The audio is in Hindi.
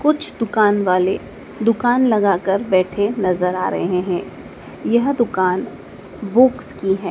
कुछ दुकान वाले दुकान लगाकर बैठे नज़र आ रहे है यह दुकान बुक्स की है।